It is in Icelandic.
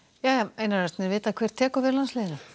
einar Örn er vitað hver tekur við landsliðinu